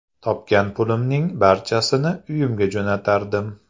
Topgan pulimning barchasini uyimga jo‘natardim.